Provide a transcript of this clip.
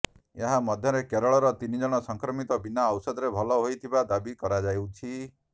ଏହା ମଧ୍ୟରେ କେରଳର ତିନିଜଣ ସଂକ୍ରମିତ ବିନା ଔଷଧରେ ଭଲ ହୋଇଥିବା ଦାବି କରାଯାଉଛି